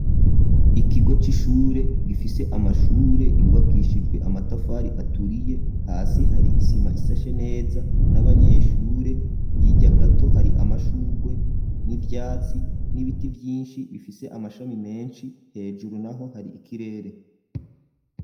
Ikigo c'ishure gifise amashure yubakishijwe amatafari aturiye hasi hari isima isashe neza n'abanyeshure hirya gato hari amashurwe n'ivyatsi n'ibiti vyinshi bifise amashami menshi hejuru naho hari ikirere.